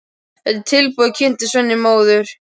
Þetta er tilbúið, tilkynnti Svenni móður.